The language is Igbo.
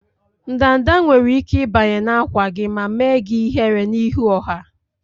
Ndanda nwere ike ịbanye na-ákwà gị ma mee gị ihere n'ihu ọha.